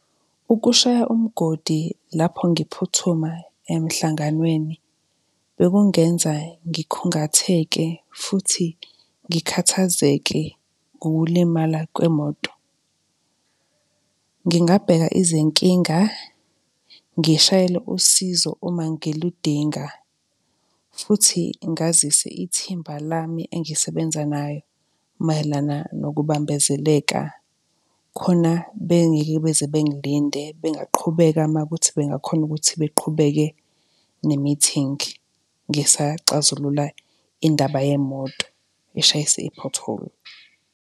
Ukushaya umgodi lapho ngiphuthuma emhlanganweni bekungenza ngikhungatheke futhi ngikhathazeke ngokulimala kwemoto. Ngingabheka izinkinga ngishayele usizo uma ngiludinga, futhi ngazise ithimba lami engisebenza naye mayelana nokubambezeleka, khona bengeke beze bengilinde, bengaqhubeka makuthi bengakhona ukuthi beqhubeke ne-meeting ngisaxazulula indaba yemoto, eshayise i-pothole.